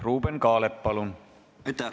Ruuben Kaalep, palun!